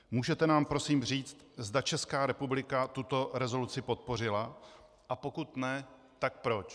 Můžete nám prosím říct, zda Česká republika tuto rezoluci podpořila, a pokud ne, tak proč?